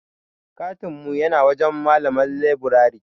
katin mu yana wajen malamar leburare.